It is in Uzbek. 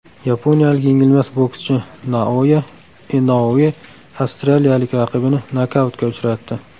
Yaponiyalik yengilmas bokschi Naoya Inoue avstraliyalik raqibini nokautga uchratdi.